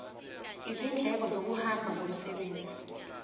izindleko zokuhamba ngomsebenzi